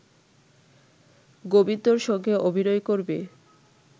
গোবিন্দর সঙ্গে অভিনয় করবে